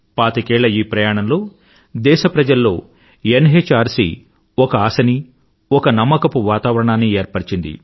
పాతికేళ్ల ఈ ప్రయాణంలో దేశప్రజల్లో ఎన్ఎచ్ఆర్సీ ఒక ఆశనీ ఒక నమ్మకపు వాతావరణాన్నీ ఏర్పరిచింది